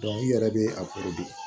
i yɛrɛ be a